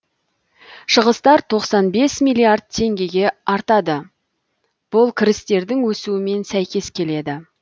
шығыстар тоқсан бес миллиард теңгеге артады бұл кірістердің өсуімен сәйкес келеді